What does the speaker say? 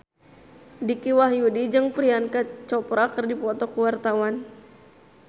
Dicky Wahyudi jeung Priyanka Chopra keur dipoto ku wartawan